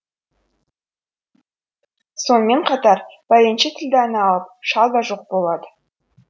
сонымен қатар бәленше тілдәні алып шал да жоқ болады